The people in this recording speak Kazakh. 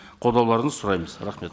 қолдауларыңызды сұраймыз рахмет